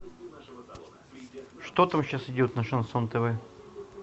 что там сейчас идет на шансон тв